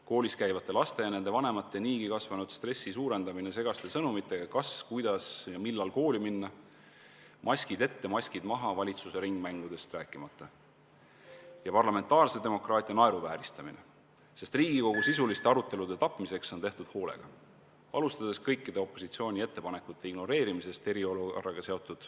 Koolis käivate laste ja nende vanemate niigi kasvanud stressi suurendamine segaste sõnumitega, kas, kuidas ja millal kooli minna, maskid ette, maskid maha, valitsuse ringmängudest rääkimata, ja parlamentaarse demokraatia naeruvääristamine, sest Riigikogu sisuliste arutelude tapmiseks on tehtud kõike hoolega, alustades kõikide opositsiooni ettepanekute ignoreerimisest eriolukorraga seotud ...